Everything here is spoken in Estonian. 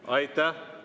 Aitäh!